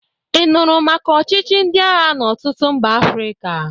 Ị nụrụ maka ọchịchị ndị agha n'ọtụtụ mba Afrịka?